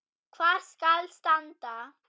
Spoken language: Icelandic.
Hvar skal standa?